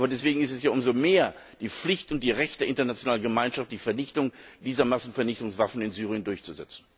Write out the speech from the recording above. Aber deswegen ist es ja umso mehr die Pflicht und das Recht der internationalen Gemeinschaft, die Vernichtung dieser Massenvernichtungswaffen in Syrien durchzusetzen.